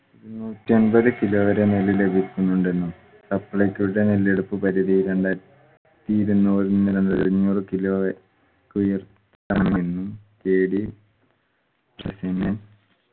നൂറ്റമ്പത് kilo വരെ നെല്ല് ലഭിക്കുന്നുണ്ടെന്നും supplyco യുടെ നെല്ലെടുപ്പ് പരിധി രണ്ടായിരത്തി ഇരുന്നൂറ് മുതൽ അഞ്ഞൂറ് kilo വരെ കുയുർത്തണമെന്നും KD